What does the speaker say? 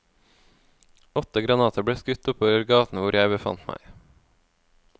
Åtte granater ble skutt oppover gaten hvor jeg befant meg.